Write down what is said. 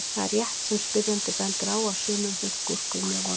Það er rétt sem spyrjandi bendir á að sumum finnast gúrkur mjög vondar.